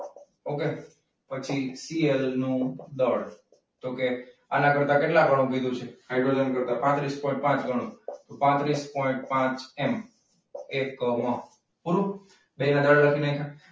okay? પછી CL નું દળ. તો કે આના કરતાં કેટલા ઘણું કીધું છે? હાઈડ્રોજન કરતાં પાત્રીસ પોઈન્ટ પાંચ ગણું. તો પાત્રીસ પોઈન્ટ પાંચ M એકમ.